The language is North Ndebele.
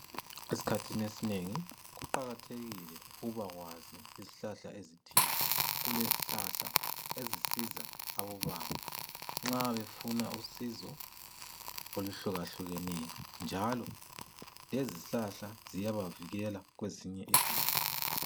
Esikhathini esinengi kuqakathekile ukuba kwazi izihlahla ezithile. Kulezihlahla ezisiza abobaba nxa befuna usizo oluhluka hlukeneyo, njalo lezizihlahla ziyabavikela kwezinye izifo.